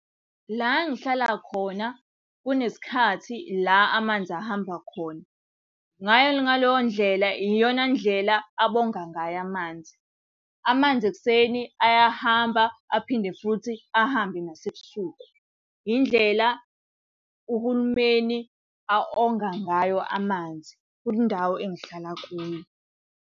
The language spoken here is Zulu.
La engihlala khona kunesikhathi la amanzi ahamba khona. ngaleyo ndlela iyona ndlela abonga ngayo amanzi. Amanzi ekuseni ayahamba aphinde futhi ahambe nasebusuku. Indlela uhulumeni a-onga ngayo amanzi kule ndawo engihlala kuyo.